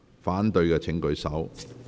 反對的請舉手。